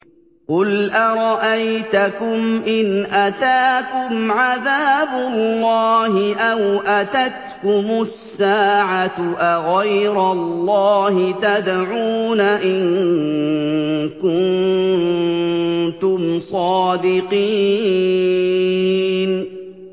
قُلْ أَرَأَيْتَكُمْ إِنْ أَتَاكُمْ عَذَابُ اللَّهِ أَوْ أَتَتْكُمُ السَّاعَةُ أَغَيْرَ اللَّهِ تَدْعُونَ إِن كُنتُمْ صَادِقِينَ